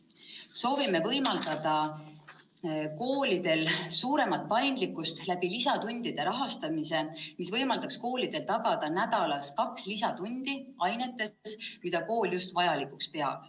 Soovime pakkuda koolidele suuremat paindlikkust lisatundide rahastamise teel, mis võimaldaks koolil teha nädalas kaks lisatundi ainetes, mida kool vajalikuks peab.